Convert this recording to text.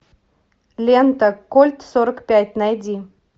лента кольт сорок пять найди